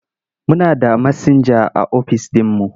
Muna da masinja a office ɗinmu.